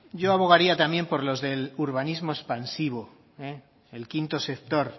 yo abogaría también por los del urbanismo expansivo el quinto sector